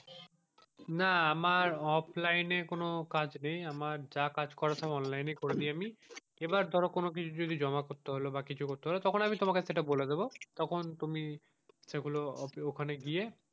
না আমার এ কোনো কাজ নেই আমার যা কাজ করার সব অনলাইন এই করে নি আমি আবার ধরো কোনো কিছু যদি কিছু জমা করতে হলো বা কিছু হলো তখন আমি সেইটা তোমাকে বলে দেবো তখন তুমি সেগুলো ঐখানে গিয়ে,